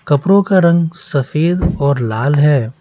कपड़ों का रंग सफेद और लाल है।